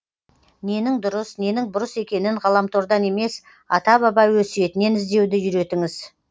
ненің дұрыс ненің бұрыс екенін ғаламтордан емес ата баба өсиетінен іздеуді үйретіңіз